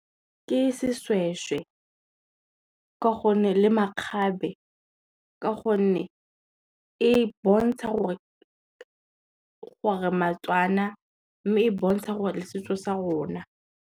Ke seshweshwe le makgabe ka gonne, e bontsha gore re Matswana, mme e bontsha gore le setso sa rona.